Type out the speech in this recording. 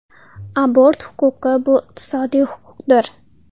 Abort huquqi bu iqtisodiy huquqdir.